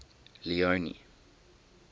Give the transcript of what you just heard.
leone